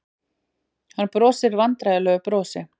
Hann brosir vandræðalegu brosi.